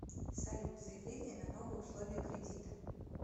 салют заявление на новые условия кредита